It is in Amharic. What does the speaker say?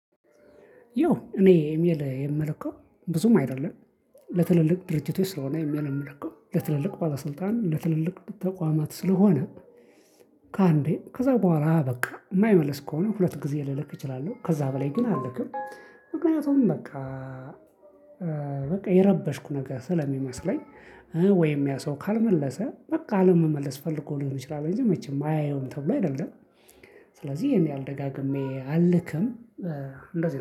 ያው እኔ ኤሚኤል የምለከው ብዙም አይደለም ለትልልቅ ድርጅቶች ስለሆነ ኤሚኤል የምለከው ለትልልቅ ባለስልጣን ለትልልቅ ተቋማት ስለሆነ ከአንዴ ከዛ በኋላ በቃ የማይመለስ ከሆነ ሁለት ጊዜ ልልክ እችላለሁ ከዛ በላይ ግን አልክም። ምክንያቱም በቃ በቃ የረበሽኩ ነገር ስለሚመስለኝ። ወይም ያ ሰው ካልመለሰ በቃ ለመመለስ ፈልጎ ልንችላለን እንጂ መቼም አያየውም ተብሎ አይደለም። ስለዚህ ይሄን ደጋግሜ አልክም። እንደዚህ